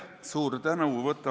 Suur tänu!